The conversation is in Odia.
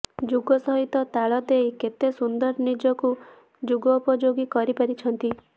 ଯୁଗ ସହିତ ତାଳ ଦେଇ କେତେ ସୁନ୍ଦର ନିଜକୁ ଯୁଗପଯୋଗୀ କରି ପାରିଛନ୍ତି